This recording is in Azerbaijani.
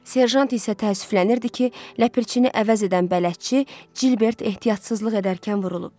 Serjant isə təəssüflənirdi ki, ləpirçini əvəz edən bələdçi Cılbert ehtiyatsızlıq edərkən vurulub.